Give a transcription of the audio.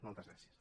moltes gràcies